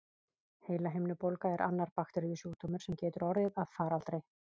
Heilahimnubólga er annar bakteríusjúkdómur, sem getur orðið að faraldri.